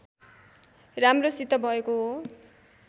राम्रोसित भएको हो